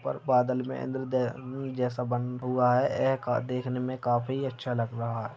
और बादल मे इन्द्र-दे जैसा बना हुआ है ये देखने मे काफी अच्छा लग रहा है।